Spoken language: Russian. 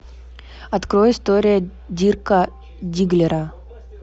открой история дирка дигглера